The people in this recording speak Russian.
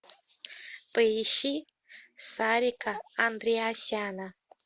поищи сарика андреасяна